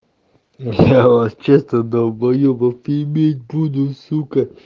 я вообще-то долбоебов бип бип буду сука